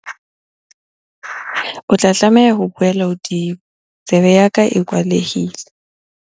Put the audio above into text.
O tla tlameha ho buela hodimo, tsebe ya ka e kwalehile.